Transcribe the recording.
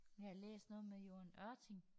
Jeg har læst noget med Joan Ørting